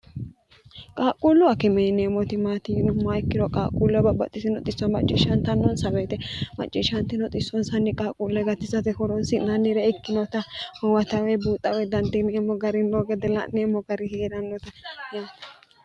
qaaqquullu akimee yineemoti maati yinomoha ikkiro qaaqquulluwa babbaxitino xisso macciishshantannoonsa weete macciishshaanti no xissoonsanni qaaqquulle gatisate horoonsi'naannire ikkinota huwata woy buuxa woy dandiineemmo gari noo gede la'neemmo gari hee'rannota yaate